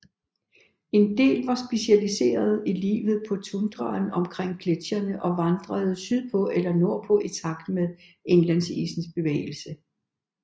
En del var specialiseret i livet på tundraen omkring gletsjerne og vandrede sydpå eller nordpå i takt med indlandsisens bevægelse